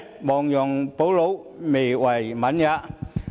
亡羊補牢，未為晚也。